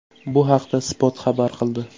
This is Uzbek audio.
Bu haqda Spot xabar qildi.